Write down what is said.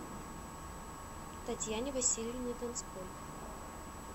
татьяне васильевне донской